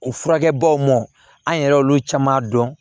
O furakɛbaw mɔn an yɛrɛ y'olu caman dɔn